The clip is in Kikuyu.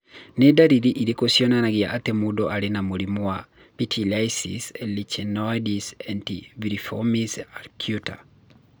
Nĩ ndariri irĩkũ cionanagia atĩ mũndũ arĩ na mũrimũ wa pityriasis lichenoides et varioliformis acuta?